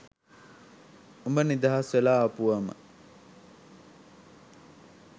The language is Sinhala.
උඹ නිදහස් වෙලා ආපුවම